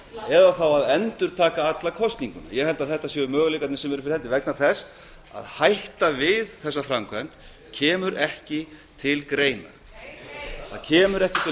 eða þá að endurtaka alla kosninguna ég held að þetta séu möguleikarnir sem eru fyrir hendi vegna þess að hætta við þessa framkvæmd kemur ekki til greina heyr heyr það kemur ekki til greina að